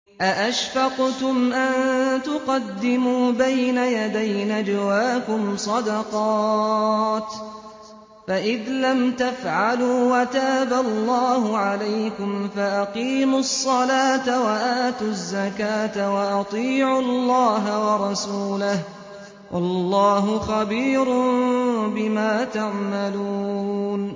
أَأَشْفَقْتُمْ أَن تُقَدِّمُوا بَيْنَ يَدَيْ نَجْوَاكُمْ صَدَقَاتٍ ۚ فَإِذْ لَمْ تَفْعَلُوا وَتَابَ اللَّهُ عَلَيْكُمْ فَأَقِيمُوا الصَّلَاةَ وَآتُوا الزَّكَاةَ وَأَطِيعُوا اللَّهَ وَرَسُولَهُ ۚ وَاللَّهُ خَبِيرٌ بِمَا تَعْمَلُونَ